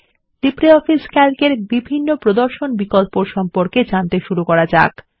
আসুন LibreOffice Calc এর বিভিন্ন প্রদর্শন বিকল্পর সম্পর্কে জানতে শুরু করা যাক